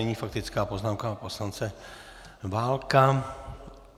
Nyní faktická poznámka pana poslance Válka.